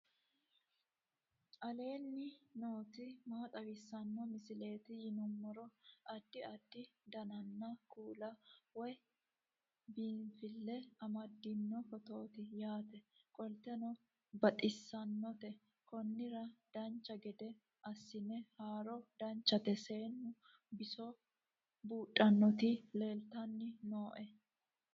aleenni nooti maa xawisanno misileeti yinummoro addi addi dananna kuula woy biinsille amaddino footooti yaate qoltenno baxissannote konnira dancha gede assine haara danchate seennu biso buudhannoti leeltanni nooe